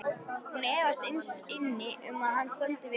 Hún efast innst inni um að hann standi við það.